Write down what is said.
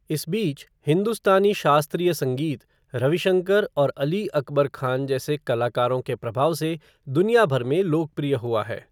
इस बीच, हिन्दुस्तानी शास्त्रीय संगीत रविशंकर और अली अकबर खान जैसे कलाकारों के प्रभाव से दुनिया भर में लोकप्रिय हुआ है।